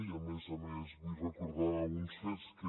i a més a més vull recordar uns fets que